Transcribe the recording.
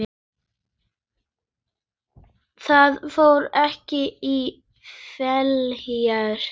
Það fór ekki í felur.